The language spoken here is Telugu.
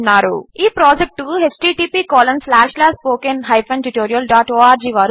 ఈ ప్రాజెక్ట్కు httpspoken tutorialorg